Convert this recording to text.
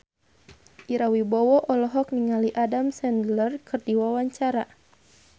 Ira Wibowo olohok ningali Adam Sandler keur diwawancara